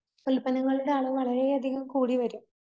ഉൽപ്പന്നങ്ങളുടെ അളവ് വളരേയധികം കൂടി വരും.